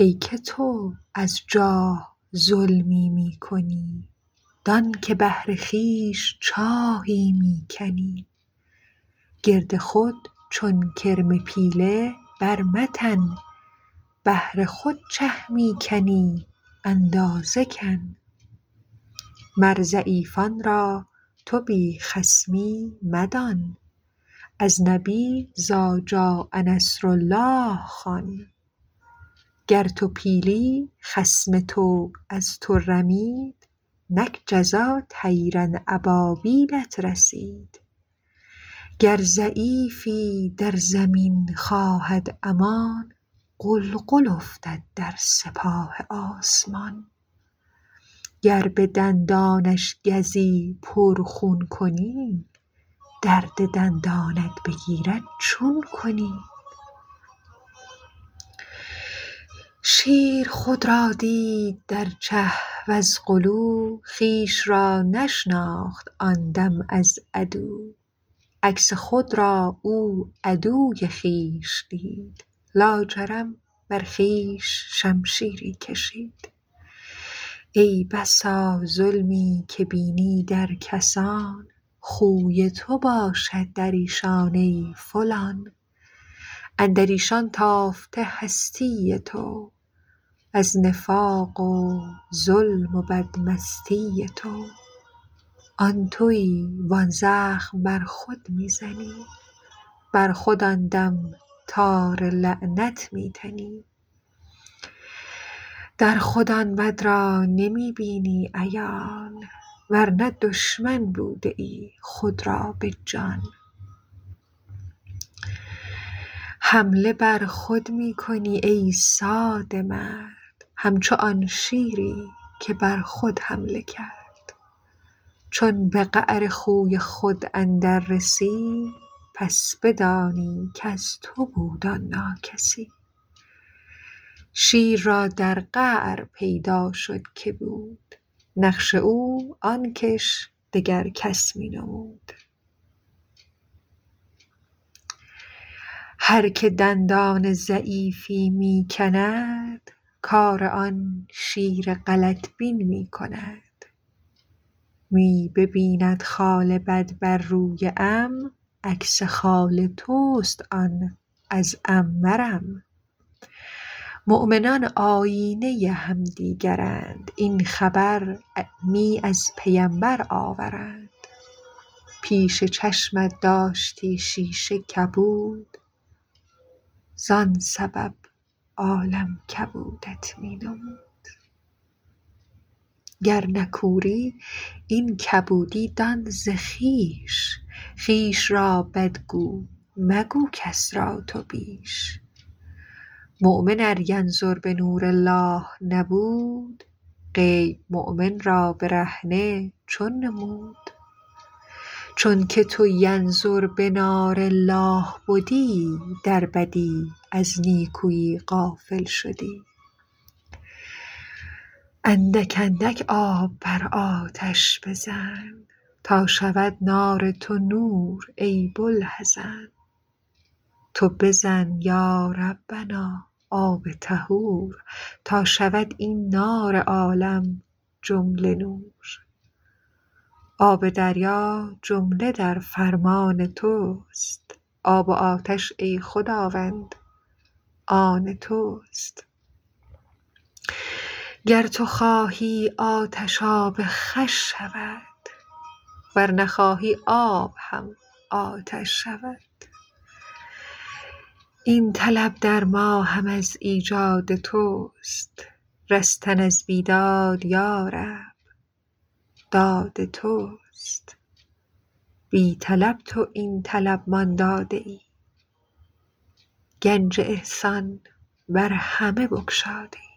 ای که تو از جاه ظلمی می کنی دانک بهر خویش چاهی می کنی گرد خود چون کرم پیله بر متن بهر خود چه می کنی اندازه کن مر ضعیفان را تو بی خصمی مدان از نبی إذجاء نصر الله خوان گر تو پیلی خصم تو از تو رمید نک جزا طیرا أبابیلت رسید گر ضعیفی در زمین خواهد امان غلغل افتد در سپاه آسمان گر بدندانش گزی پر خون کنی درد دندانت بگیرد چون کنی شیر خود را دید در چه وز غلو خویش را نشناخت آن دم از عدو عکس خود را او عدو خویش دید لاجرم بر خویش شمشیری کشید ای بسا ظلمی که بینی در کسان خوی تو باشد دریشان ای فلان اندریشان تافته هستی تو از نفاق و ظلم و بد مستی تو آن توی و آن زخم بر خود می زنی بر خود آن دم تار لعنت می تنی در خود آن بد را نمی بینی عیان ورنه دشمن بودیی خود را بجان حمله بر خود می کنی ای ساده مرد همچو آن شیری که بر خود حمله کرد چون به قعر خوی خود اندر رسی پس بدانی کز تو بود آن ناکسی شیر را در قعر پیدا شد که بود نقش او آنکش دگر کس می نمود هر که دندان ضعیفی می کند کار آن شیر غلط بین می کند می ببیند خال بد بر روی عم عکس خال تست آن از عم مرم مؤمنان آیینه همدیگرند این خبر می از پیمبر آورند پیش چشمت داشتی شیشه کبود زان سبب عالم کبودت می نمود گر نه کوری این کبودی دان ز خویش خویش را بد گو مگو کس را تو بیش مؤمن ار ینظر بنور الله نبود غیب مؤمن را برهنه چون نمود چون که تو ینظر بنار الله بدی در بدی از نیکوی غافل شدی اندک اندک آب بر آتش بزن تا شود نار تو نور ای بوالحزن تو بزن یا ربنا آب طهور تا شود این نار عالم جمله نور آب دریا جمله در فرمان تست آب و آتش ای خداوند آن تست گر تو خواهی آتش آب خوش شود ور نخواهی آب هم آتش شود این طلب در ما هم از ایجاد تست رستن از بیداد یا رب داد تست بی طلب تو این طلب مان داده ای گنج احسان بر همه بگشاده ای